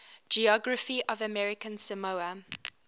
geography of american samoa